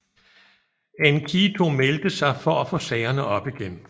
Enkidu meldte sig for at få sagerne op igen